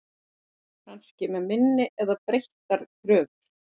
Kannski með minni eða breyttar kröfur?